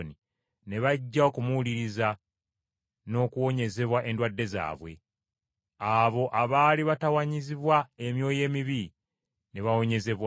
ne bajja okumuwuliriza n’okuwonyezebwa endwadde zaabwe. Abo abaali batawaanyizibwa emyoyo emibi ne bawonyezebwa;